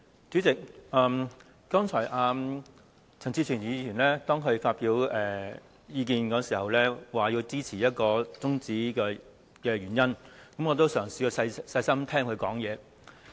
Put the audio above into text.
主席，剛才陳志全議員在發表意見時，解釋支持中止辯論的原因，我也嘗試細心聆聽他的發言。